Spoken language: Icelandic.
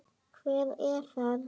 Hver er þar?